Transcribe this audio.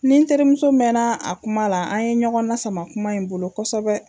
N nin terimuso mɛnna a kuma la, an ye ɲɔgɔn na sama kuma in bolo kosɛbɛ.